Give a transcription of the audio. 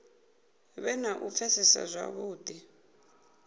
vhe na u pfesesa zwavhudi